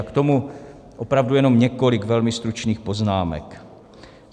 A k tomu opravdu jenom několik velmi stručných poznámek.